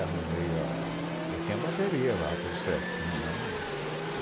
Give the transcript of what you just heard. Aí arrumei a... Eu tinha a bateria lá, tudo certinho.